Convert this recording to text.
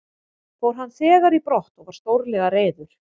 Fór hann þegar í brott og var stórlega reiður.